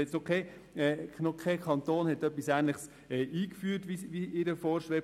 Bisher hat noch kein Kanton etwas Ähnliches eingeführt, wie es ihr vorschwebt.